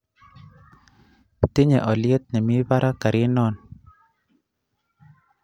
Tinye olyeet nemii parak karinon